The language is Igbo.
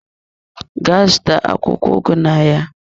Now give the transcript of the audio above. Gaa zụta akwụkwọ ugu ahụ n'ahịa!